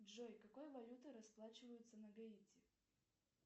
джой какой валютой расплачиваются на гаити